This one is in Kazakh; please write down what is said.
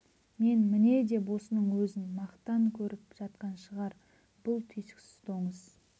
мен міне деп осының өзін мақтан көріп жатқан шығар бұл түйсіксіз доңыз